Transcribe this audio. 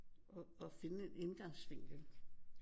Og finde en indgangsvinkel